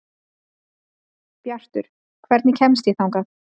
Bjartur, hvernig kemst ég þangað?